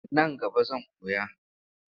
Nan gaba zan koya.